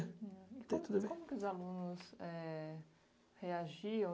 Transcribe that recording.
tudo a ver. E como e como os alunos é reagiam?